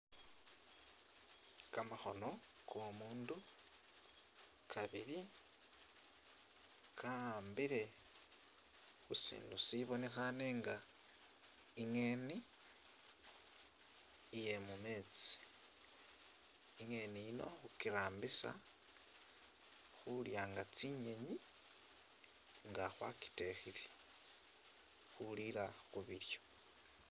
Kamakhono ko'omundu kabili ka'ambile khu sindu sibonekhaane nga i'ngeeni iye mu meetsi, i'ngeeni yino khukirambisa khulya nga tsinyenyi nga khwakitekhile, khuliila khu bilyo.